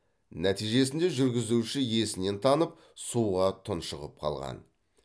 нәтижесінде жүргізуші есінен танып суға тұншығып қалған